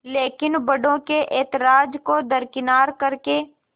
लेकिन बड़ों के ऐतराज़ को दरकिनार कर के